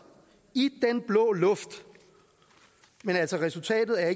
i den blå luft men resultatet er